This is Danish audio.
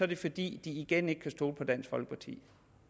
det fordi de igen ikke kan stole på dansk folkeparti